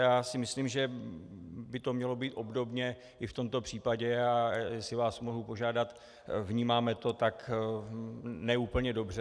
Já si myslím, že by to mělo být obdobně i v tomto případě, a jestli vás mohu požádat, vnímáme to ne úplně dobře.